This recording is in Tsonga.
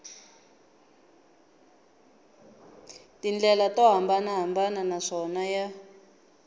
tindlela to hambanahambana naswona ya